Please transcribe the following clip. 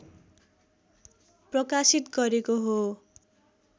प्रकाशित गरेको हो